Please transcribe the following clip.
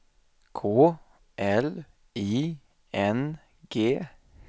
K L I N G